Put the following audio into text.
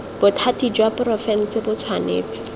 bothati jwa porofense bo tshwanetse